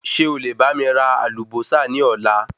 Ṣé o lè bá mi ra Àlùbósà ni Ọ̀la?